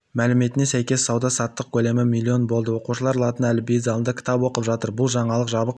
мәліметіне сәйкес сауда-саттық көлемі млн болды оқушылар латын әліпбиі залында кітап оқып жатыр бұл жаңалық жабық